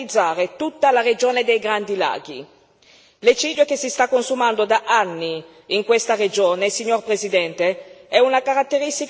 L'eccidio che si sta consumando da anni in questa regione, signor Presidente, è una caratteristica imprescindibile del popolo che abita in queste terre.